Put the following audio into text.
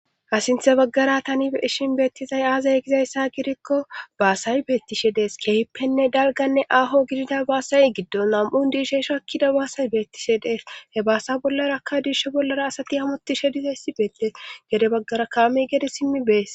Hsinthe baggara tani ishin beettizay aazay gizayssa gidikko baasay beettishe dees keehippenne dalganne aaho gidida baasay giddon nam'un diishe shoakkida baasay beettishe dees he baasa bollarakka diish bollara asati hamotishe dizayssi beetteesgede baggara kaame gede simmi bees.